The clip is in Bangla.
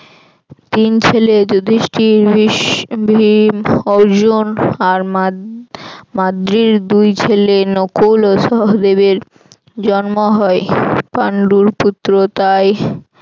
তিন ছেলে যুধিষ্ঠির, ভীম, অর্জুন আর মাদ~ মাদ্রীর দুই ছেলে নকুল ও সহদেবের জন্ম হয় পান্ডুর পুত্র তাই